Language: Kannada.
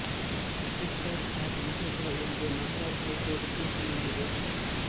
ಟಿಕ್ ಟಾಕ್ ಆ್ಯಪ್ ನಿಷೇಧ ಎಂದು ಮದ್ರಾಸ್ ಹೈಕೋರ್ಟ್ ತೀರ್ಪು ನೀಡಿದೆ